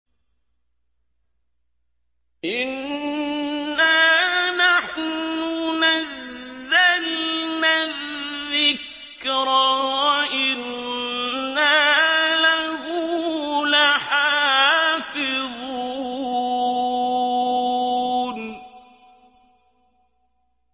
إِنَّا نَحْنُ نَزَّلْنَا الذِّكْرَ وَإِنَّا لَهُ لَحَافِظُونَ